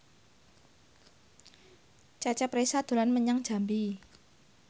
Cecep Reza dolan menyang Jambi